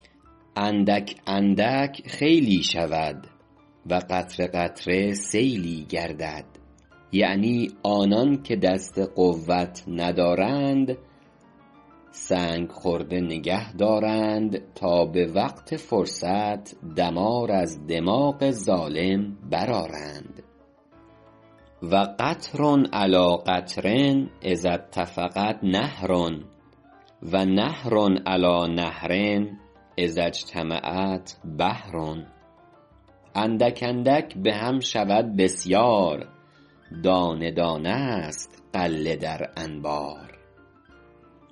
اندک اندک خیلی شود و قطره قطره سیلی گردد یعنی آنان که دست قوت ندارند سنگ خرده نگه دارند تا به وقت فرصت دمار از دماغ ظالم برآرند و قطر علیٰ قطر اذا اتفقت نهر و نهر علیٰ نهر اذا اجتمعت بحر اندک اندک به هم شود بسیار دانه دانه است غله در انبار